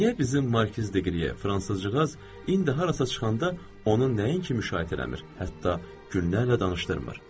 Niyə bizim Markiz Diqriye, Fransızca, indi harasa çıxanda onun nəinki müşayiət eləmir, hətta günlərlə danışdırmır?